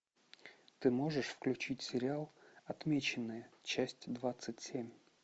ты можешь включить сериал отмеченные часть двадцать семь